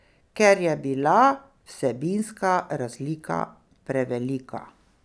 Ker je bila vsebinska razlika prevelika.